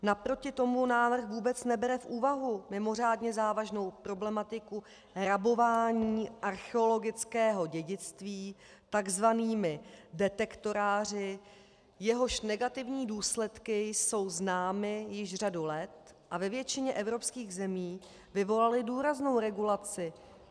Naproti tomu návrh vůbec nebere v úvahu mimořádně závažnou problematiku rabování archeologického dědictví takzvanými detektoráři, jehož negativní důsledky jsou známy již řadu let a ve většině evropských zemí vyvolaly důraznou regulaci.